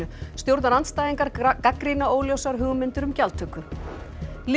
stjórnarandstæðingar gagnrýna óljósar hugmyndir um gjaldtöku